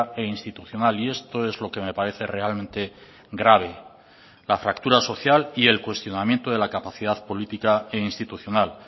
e institucional y esto es lo que me parece realmente grave la fractura social y el cuestionamiento de la capacidad política e institucional